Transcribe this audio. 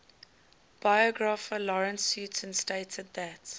biographer lawrence sutin stated that